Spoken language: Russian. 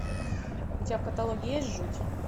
у тебя в каталоге есть жуть